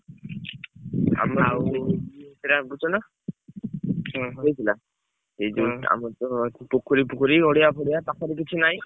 ଆମର ବୁଝୁଛନା ହେଇଥିଲା ସେଇଯୋଗୁ ଆମର ତ ପୋଖରୀ ଫୋଖରୀ ଗଡିଆ ଫଡିଆ ପାଖରେ କିଛି ନାଇଁ।